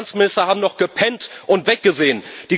Die Finanzminister haben doch gepennt und weggesehen.